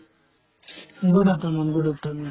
good afternoon, good afternoon